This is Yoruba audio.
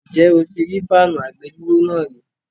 Ǹjẹ́ o ti rí fáànù àgbèdúró náà rí?